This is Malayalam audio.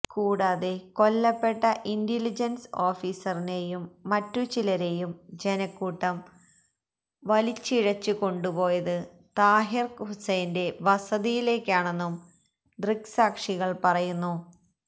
കൂടാതെ കൊല്ലപ്പെട്ട ഇന്റലിജൻസ് ഓഫീസറിനെയും മറ്റു ചിലരെയും ജനക്കൂട്ടം വലിഴിച്ച് കൊണ്ടുപോയത് താഹിർ ഹുസൈന്റെ വസതിയിലേക്കാണെന്നും ദൃക്സാക്ഷികൾ പറയുന്നു